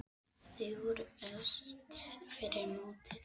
Þau voru efst fyrir mótið.